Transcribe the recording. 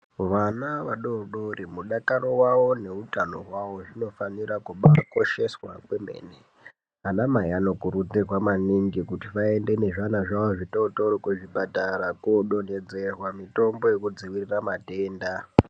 Vana vadodori mudakaro wavo nehutano hwawo zvinofanira kubakosheshwa kwemene anamai anokurudzirwa maningi kuti ayende nezviana zvavo zvitotori kuzvipatara kodonhedzerwa mutombo yekudzivirira matenda.